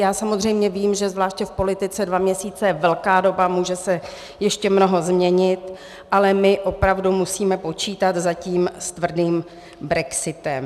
Já samozřejmě vím, že zvláště v politice dva měsíce je velká doba, může se ještě mnoho změnit, ale my opravdu musíme počítat zatím s tvrdým brexitem.